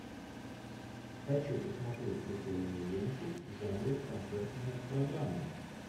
хочу посмотреть прикольную ленту в жанре концертная программа